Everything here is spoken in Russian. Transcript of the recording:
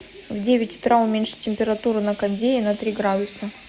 в девять утра уменьшить температуру на кондее на три градуса